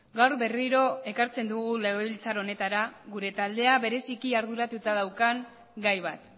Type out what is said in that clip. gaur berriro ekartzen dugu legebiltzar honetara gure taldea bereziki arduratuta daukan gai bat